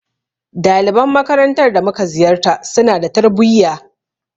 Daliban makarantar da mu ka ziyarta, su na da tarbuyya.